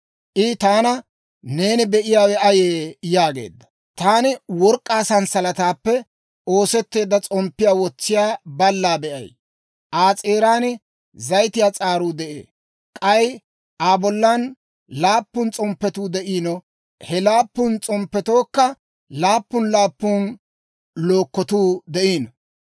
I taana, «Neeni be'iyaawe ayee?» yaageedda. Taani, «Taani work'k'aa s'alaalaappe oosetteedda s'omppiyaa wotsiyaa ballaa be'ay; Aa s'eeran zayitiyaa s'aaruu de'ee; k'ay Aa bollan laappun s'omppetuu de'iino; he laappun s'omppetookka laappun laappun lukotuu de'iino.